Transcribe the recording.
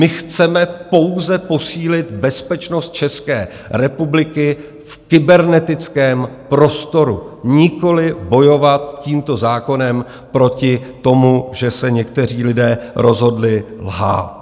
My chceme pouze posílit bezpečnost České republiky v kybernetickém prostoru, nikoliv bojovat tímto zákonem proti tomu, že se někteří lidé rozhodli lhát.